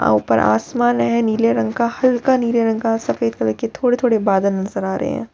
ऊपर आसमान है नीले रंग का हल्का नीले रंग का सफेद कलर के थोड़े-थोड़े बदले नजर आ रहे हैं।